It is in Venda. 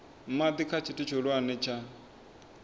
madi kha tshithu tshihulwane tsha